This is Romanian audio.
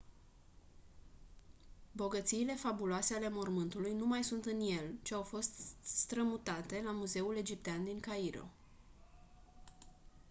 bogățiile fabuloase ale mormântului nu mai sunt în el ci au fost strămutate la muzeul egiptean din cairo